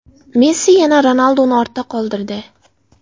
Messi yana Ronalduni ortda qoldirdi.